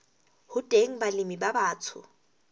ho teng balemi ba batsho